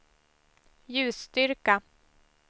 ljusstyrka